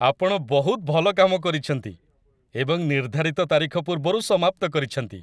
ଆପଣ ବହୁତ ଭଲ କାମ କରିଛନ୍ତି ଏବଂ ନିର୍ଦ୍ଧାରିତ ତାରିଖ ପୂର୍ବରୁ ସମାପ୍ତ କରିଛନ୍ତି।